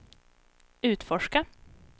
utforska